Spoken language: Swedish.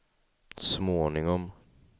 småningom